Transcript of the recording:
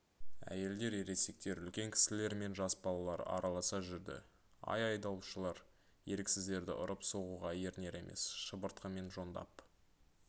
әйелдер ересектер үлкен кісілер мен жас балалар араласа жүрді ал айдаушылар еріксіздерді ұрып соғуға ерінер емес шыбыртқымен жондап